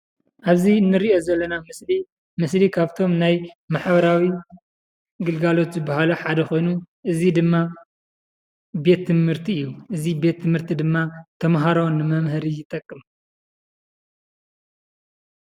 ኣብዚ እንሪኦ ዘለና ምስሊ ምስሊ ካብቶም ናይ ማሕበራዊ ግልጋሎት ዝበሃሉ ሓደ ኾይኑ እዚ ድማ ቤት ትምህርቲ እዩ፡፡ እዚ ቤት ትምህርቲ ድማ ተምሃሮ ንመምሀሪ ይጠቅም፡፡